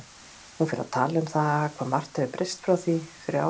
Hún fer að tala um það hvað margt hafi breyst frá því fyrir ári.